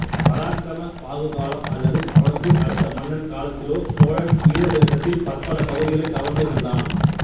பராக்கிரம பாகு காலம் அல்லது அவனுக்கு அடுத்த மன்னன் காலத்திலோ சோழன் ஈழ தேசத்தில் பற்பல பகுதிகளை கவர்ந்து இருந்தான்